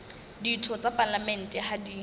ditho tsa palamente ha di